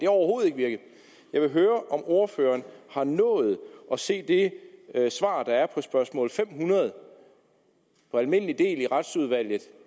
overhovedet ikke virket jeg vil høre om ordføreren har nået at se det svar der er på spørgsmål nummer fem hundrede i almindelig del i retsudvalget